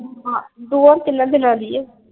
ਹਾਂ ਦੋਆਂ ਤਿੰਨਾਂ ਦਿਨਾਂ ਦੀ ਆ।